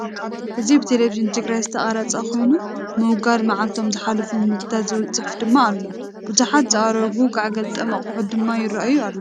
እዚ ብቴሌቪዥን ትግራይ ዝተቀረፀ ኮይኑ ምውጋድ መጻልቶም ዝሓለፎም ምግቢታት ዝብል ፅሑፍ ድማ አሎ፡፡ ብዙሓት ዝአረጉ ጋዕ ገልጠም አቁሑት ድማ ይረአዩ አለዉ፡፡